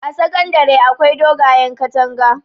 a sakandare akwai dogayen katanga